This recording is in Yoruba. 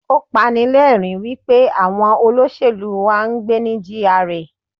Ó pani lẹ́rìń wípé àwọn olóṣèlú wá ń gbé ní GRA.